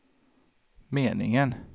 meningen